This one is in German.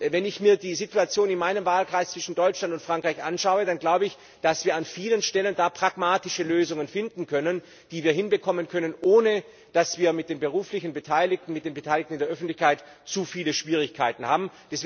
Wenn ich mir die Situation in meinem Wahlkreis zwischen Deutschland und Frankreich anschaue, dann glaube ich, dass wir an vielen Stellen pragmatische Lösungen finden können, die wir hinbekommen können, ohne dass wir mit den beruflich Beteiligten, mit den Beteiligten in der Öffentlichkeit zu viele Schwierigkeiten haben.